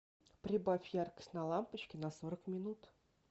прибавь яркость на лампочке на сорок минут